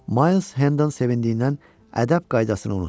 Mayls Henden sevindiyindən ədəb qaydasını unutdu.